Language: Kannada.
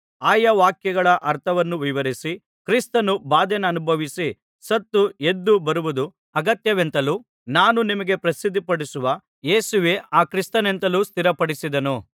ಆಯಾ ವಾಕ್ಯಗಳ ಅರ್ಥವನ್ನು ವಿವರಿಸಿ ಕ್ರಿಸ್ತನು ಬಾಧೆಯನ್ನನುಭವಿಸಿ ಸತ್ತು ಎದ್ದು ಬರುವುದು ಅಗತ್ಯವೆಂತಲೂ ನಾನು ನಿಮಗೆ ಪ್ರಸಿದ್ಧಿಪಡಿಸುವ ಯೇಸುವೇ ಆ ಕ್ರಿಸ್ತನೆಂತಲೂ ಸ್ಥಿರಪಡಿಸಿದನು